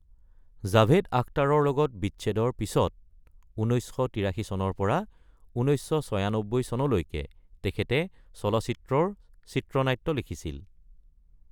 জাভেদ আখতাৰৰ লগত বিচ্ছেদৰ পিছত ১৯৮৩ চনৰ পৰা ১৯৯৬ চনলৈকে তেখেতে চলচ্চিত্ৰৰ চিত্ৰনাট্য লিখিছিল।